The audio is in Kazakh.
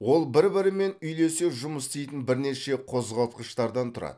ол бір бірімен үйлесе жұмыс істейтін бірнеше қозғалтқыштардан тұрады